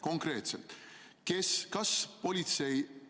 Konkreetselt: kes?